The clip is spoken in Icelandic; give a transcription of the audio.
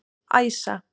Æsa